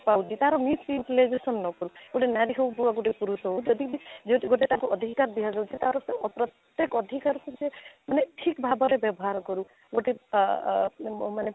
ତା'ର misutilization ନ କରୁ ଗୋଟେ ନାରୀ ହଉ ବା ଗୋଟେ ପୁରୁଷ ହଉ ଯଦି ବି ଯଦି ତାକୁ ଅଧିକାର ଦିଅ ଯାଉଛି ତା'ର ସେ ପ୍ରତେକ ଅଧିକାର କୁ ସେ ମାନେ ଠିକ ଭାବରେ ବ୍ୟବହାର କରୁ ଗୋଟେ ଆଃ ଆଃ ମାନେ